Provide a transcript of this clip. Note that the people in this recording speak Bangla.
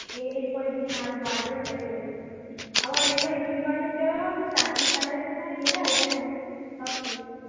এ এর পরে দিন আরো বাড়বে ওটাই বলছি আবার এরপরে দিন বাড়লে কি হবে বলতো চারটে সাড়ে চারটেয় সময় গেলে এবং সব শেষ